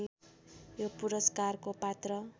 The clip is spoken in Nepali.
यो पुरस्कारको पात्र